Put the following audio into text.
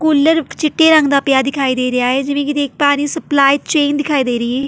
ਕੁੱਲਰ ਚਿੱਟੇ ਰੰਗ ਦਾ ਪਿਆ ਦਿਖਾਈ ਦੇ ਰਿਹਾ ਏ ਜਿਵੇਂ ਕਿ ਦੇਖ ਪਾ ਰਹੀ ਹਾਂ ਸਪਲਾਈ ਚੇਨ ਦਿਖਾਈ ਦੇ ਰਹੀ ਏ।